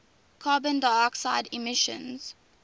carbon dioxide emissions